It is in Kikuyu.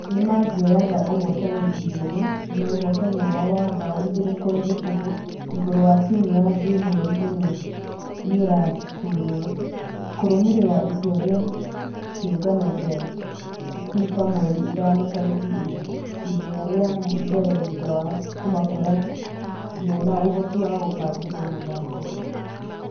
Nĩmangeagea ũhotani igĩrĩ nũ ũhotani wao wa bao igĩrĩ kũrĩ kĩbũgũ igũrũ wa timũ ya zoo mweri ĩmwe nĩũrarutirwa. Kũrũmĩrĩra itua rĩa kĩũngano gĩa fifamweri ithano tarĩki inya ......ithenya rĩa mbere thutha wa kũmakora mena ũhoti wa kũbangĩrwo mũthako.